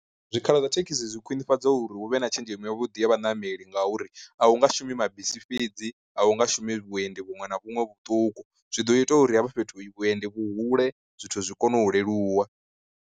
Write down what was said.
Zwikhala zwa thekhisi zwi khwinifhadza uri hu vhe na tshenzhemo ya vhuḓi ya vhanameli ngauri, a hu nga shumi mabisi fhedzi a hu nga shume vhuendi vhuṅwe na vhuṅwe vhuṱuku, zwi ḓo ita uri havha fhethu i vhuendi vhu hule zwithu zwi kone u leluwa.